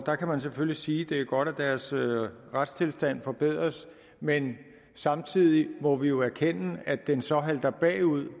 der kan man selvfølgelig sige at det er godt at deres retstilstand forbedres men samtidig må vi jo erkende at den så halter bagud